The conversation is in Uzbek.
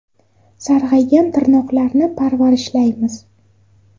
Sarg‘aygan tirnoqlarni parvarishlaymiz.